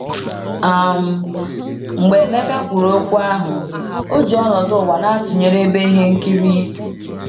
um Mgbe Emeka kwuru okwu ahụ, o ji ọnọdụ ụwa na - atụnyere ebe ihe nkiri.